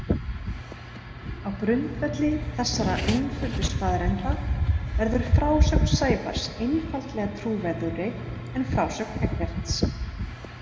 Á grundvelli þessara einföldu staðreynda verður frásögn Sævars einfaldlega trúverðugri en frásögn Eggerts.